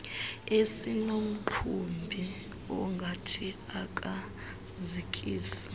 esinomqhubi ongathi akazikisi